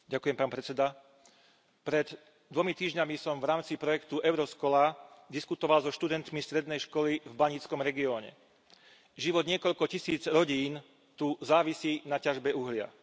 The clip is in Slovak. Vážený pán predsedajúci, pred dvomi týždňami som v rámci projektu Euroscola diskutoval so študentmi strednej školy v baníckom regióne. Život niekoľko tisíc rodín tu závisí od ťažby uhlia.